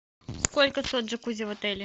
сколько стоит джакузи в отеле